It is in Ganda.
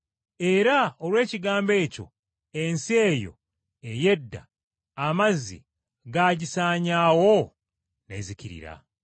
Era olw’ekigambo ekyo ensi eyo ey’edda, amazzi gaagisaanyaawo n’ezikirira.